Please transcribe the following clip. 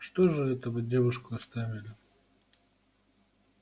что же это вы девушку оставили